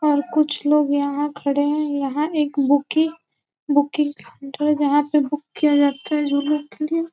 और कुछ लोग यहाँ खड़े है। यहाँ एक बुकी- बुकिंग सेंटर है जहाॅं पे बुक किया जाता है जाने के लिए--